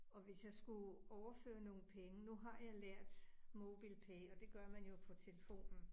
Og hvis jeg skulle overføre nogle penge. Nu har jeg lært MobilePay og det gør man jo på telefonen